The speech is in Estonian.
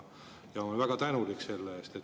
Ma olen väga tänulik selle eest.